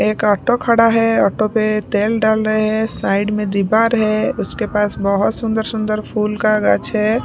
एक ऑटो खड़ा है ऑटो पे तेल डाल रहे हैं साइड में दीवार है उसके पास बहुत सुंदर सुंदर फूल का गाछ है।